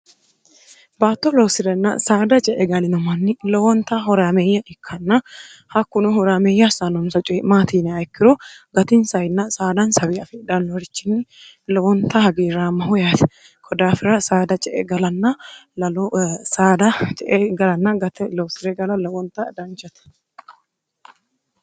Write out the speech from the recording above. baatto loosi'renna saada ce e galino manni lowonta horaameeyya ikkanna hakkunu huraameyya hassaanomsa coyi'maatiiniayikkiru gatinsayinn saadan sawi afeedhannohrichinni lowonta hagiiraamma hu yaate kodaafira saada ce e sdce e galanna gate loosi're gala lowonta danchate